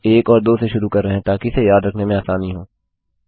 हम एक और दो से शुरू कर रहे हैं ताकि इसे याद रखने में आसानी हो